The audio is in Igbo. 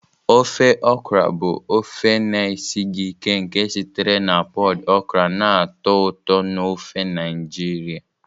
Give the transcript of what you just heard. Ofe okra bụ ofe na-esighị ike nke sitere na pọd okra na-atọ ụtọ n'ofe Naijiria.